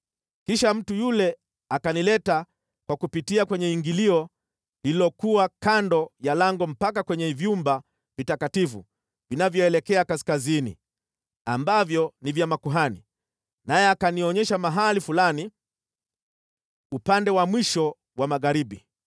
Kisha mtu yule akanileta kwa kupitia kwenye ingilio lililokuwa kando ya lango mpaka kwenye vyumba vitakatifu vinavyoelekea kaskazini, ambavyo ni vya makuhani, naye akanionyesha mahali fulani upande wa mwisho wa magharibi.